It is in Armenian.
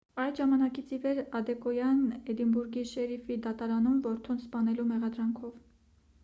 այդ ժամանակից ի վեր ադեկոյան էդինբուրգի շերիֆի դատարանում է որդուն սպանելու մեղադրանքով